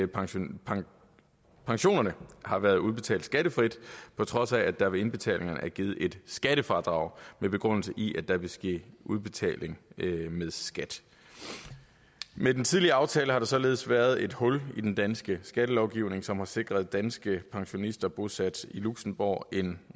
pensionerne pensionerne har været udbetalt skattefrit på trods af at der ved indbetalingerne er givet et skattefradrag med begrundelse i at der ville ske en udbetaling med skat med den tidligere aftale har der således været et hul i den danske skattelovgivning som har sikret danske pensionister bosat i luxembourg en